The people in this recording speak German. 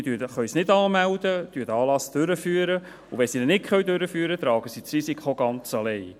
Sie können den Anlass nicht anmelden, führen ihn durch, und wenn Sie ihn nicht durchführen können, tragen Sie das Risiko ganz alleine.